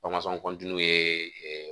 kɔntiniyew ye